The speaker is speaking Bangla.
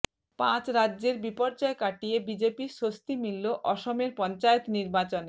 পাঁচ রাজ্যের বিপর্যয় কাটিয়ে বিজেপির স্বস্তি মিলল অসমের পঞ্চায়েত নির্বাচনে